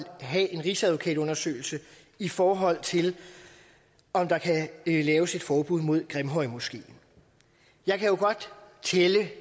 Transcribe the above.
have en rigsadvokatundersøgelse i forhold til om der kan laves et forbud mod grimhøjmoskeen jeg kan godt tælle